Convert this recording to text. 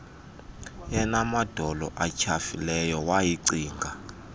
enamadolo atyhafileyo wayicinga